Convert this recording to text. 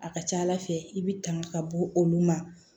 A ka ca ala fɛ i bi tanga ka bɔ olu ma